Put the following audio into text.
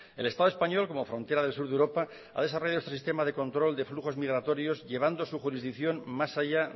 el estado español como frontera del sur de europa ha desarrollado su sistema de control de flujos migratorios llevando su jurisdicción más allá